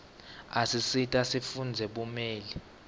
isisita sifundzele bumeli